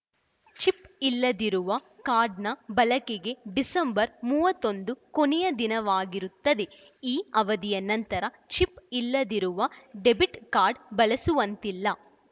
chip ಇಲ್ಲದಿರುವ ಕಾರ್ಡ್‌ನ ಬಳಕೆಗೆ ಡಿಸೆಂಬರ್‌ ಮೂವತ್ತ್ ಒಂದು ಕೊನೆಯ ದಿನವಾಗಿರುತ್ತದೆ ಈ ಅವಧಿಯ ನಂತರ ಚಿಪ್‌ ಇಲ್ಲದಿರುವ ಡೆಬಿಟ್‌ ಕಾರ್ಡ್‌ ಬಳಸುವಂತಿಲ್ಲ